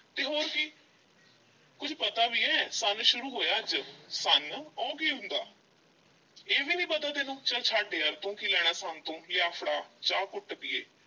ਤੇ ਹੋਰ ਕੀ ਕੁਝ ਪਤਾ ਵੀ ਐ ਸੰਨ ਸ਼ੁਰੂ ਹੋਇਆ ਅੱਜ, ਸੰਨ? ਉਹ ਕੀ ਹੁੰਦਾ ਇਹ ਵੀ ਨਹੀਂ ਪਤਾ ਤੈਨੂੰ ਚੱਲ ਛੱਡ ਯਾਰ ਤੂੰ ਕੀ ਲੈਣਾ ਸੰਨ ਤੋਂ ਲਿਆ ਫੜਾ ਚਾਹ ਘੁੱਟ ਪੀਈਏ।